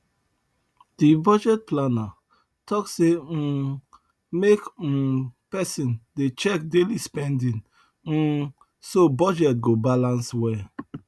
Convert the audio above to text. the budget planner talk say um make um person dey check daily spending um so budget go balance well